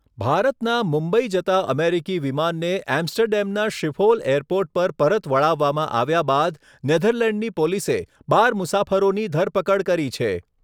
ભારતના મુંબઈ જતાં અમેરિકી વિમાનને એમ્સ્ટરડેમના શિફોલ એરપોર્ટ પર પરત વળાવવામાં આવ્યાં બાદ નેધરલેન્ડની પોલીસે બાર મુસાફરોની ધરપકડ કરી છે.